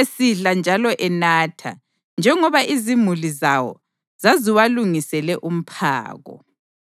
esidla njalo enatha, njengoba izimuli zawo zaziwalungisele umphako.